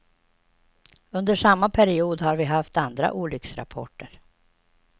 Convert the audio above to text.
Under samma period har vi haft andra olycksrapporter.